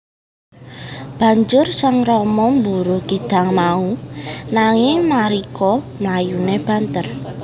Banjur Sang Rama mburu kidang mau nanging Marica mlayune banter